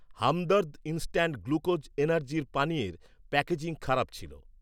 Hamdard instant glucose energy পানীয়ের packaging খারাপ ছিল।